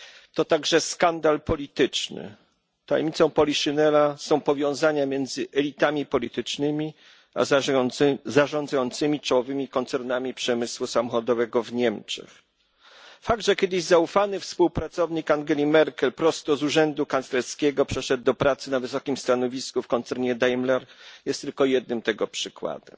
To także skandal polityczny. Tajemnicą poliszynela są powiązania między elitami politycznymi a osobami zarządzającymi czołowymi koncernami przemysłu samochodowego w Niemczech. Fakt, że kiedyś zaufany współpracownik Angeli Merkel prosto z urzędu kanclerskiego przeszedł do pracy na wysokim stanowisku w koncernie Daimler jest tylko jednym tego przykładem.